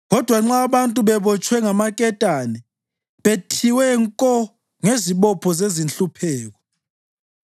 Kodwa nxa abantu bebotshwe ngamaketane, bethiwe nko ngezibopho zezinhlupheko,